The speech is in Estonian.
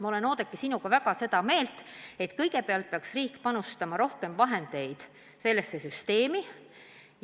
Ma olen, Oudekki, sinuga nõus, et kõigepealt peaks riik panustama rohkem vahendeid sellesse süsteemi.